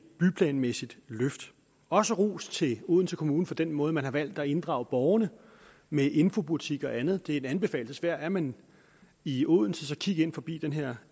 byplanmæssigt løft jeg også rose odense kommune for den måde man har valgt at inddrage borgerne med infobutik og andet det er en anbefaling værd er man i odense så kig ind forbi den her